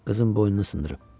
Qızın boynunu sındırıb.